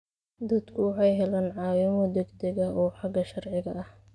Dadku waxay helaan caawimo degdeg ah oo xagga sharciga ah.